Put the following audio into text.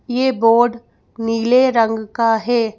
ये बोर्ड नीले रंग का है।